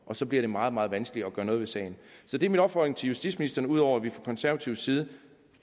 og så bliver det meget meget vanskeligt at gøre noget ved sagen så det er min opfordring til justitsministeren ud over at vi fra konservativ side